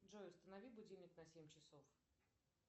джой установи будильник на семь часов